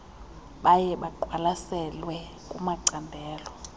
baye baqwalaselwe kumacandelo